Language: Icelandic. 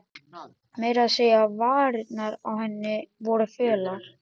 Meira að segja varirnar á henni voru fölar.